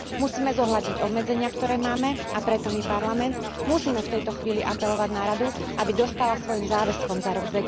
Musíme zohľadniť obmedzenia, ktoré máme, a preto my, Parlament, musíme v tejto chvíli apelovať na Radu, aby dostála svojim záväzkom za rok